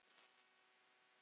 Þinn, Sindri Már.